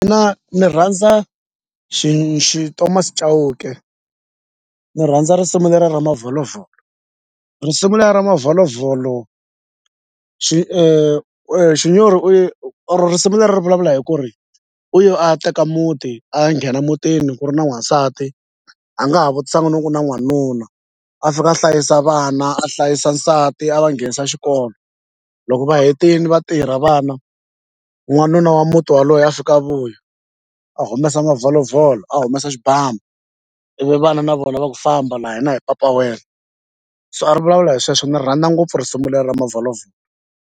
Mina ni rhandza Thomas Chauke ni rhandza risimu lera ra mavholovholo risimu lera mavholovholo Xinyori i or risimu leri ri vulavula hi ku ri u yo a ya teka muti a ya nghena mutini ku ri na n'wansati a nga ha vutisanga no ku na n'wanuna a fika a hlayisa vana a hlayisa nsati a va nghenisa xikolo loko va hetini va tirha vana n'wanuna wa muti waloye a fika a vuya a humesa mavholovholo a humesa xibamu ivi vana na vona va ku famba la hina hi papa wena so a ri vulavula hi sweswo ni ri rhandza ngopfu risimu lera mavholovholo.